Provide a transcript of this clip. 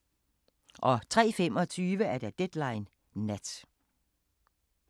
03:25: Deadline Nat